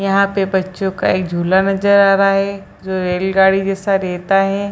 यहां पे बच्चो का एक झूला नजर आ रहा है जो रेलगाड़ी जैसा रहता है।